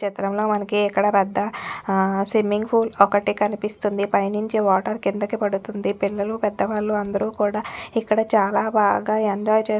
చిత్రంలో మనకి ఇక్కడ పెద్ద అ స్విమ్మింగ్ పూల్ ఒక్కటి కనిపిస్తుంది పైనుంచి వాటర్ కిందకి పడుతుందిపిల్లలు పెద్ద వాళ్ళందరూ కూడా ఇక్కడ చాలా బాగా ఎంజాయ్ చేస్ --